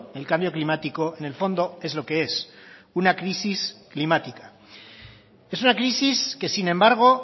el cambio climático en el fondo es lo que es una crisis climática es una crisis que sin embargo